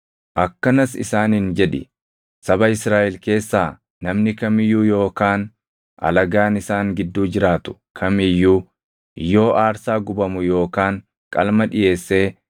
“Akkanas isaaniin jedhi; ‘Saba Israaʼel keessaa namni kam iyyuu yookaan alagaan isaan gidduu jiraatu kam iyyuu yoo aarsaa gubamu yookaan qalma dhiʼeessee